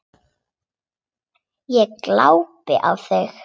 Ég glápi á þau.